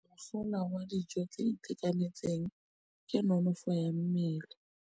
Mosola wa dijô tse di itekanetseng ke nonôfô ya mmele.